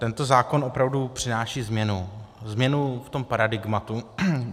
Tento zákon opravdu přináší změnu, změnu v tom paradigmatu.